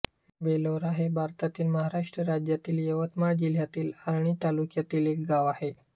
बेलोरा हे भारतातील महाराष्ट्र राज्यातील यवतमाळ जिल्ह्यातील आर्णी तालुक्यातील एक गाव आहे